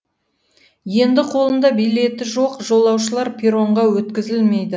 енді қолында билеті жоқ жолаушылар перронға өткізілмейді